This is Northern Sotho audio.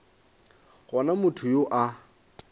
go na motho yo a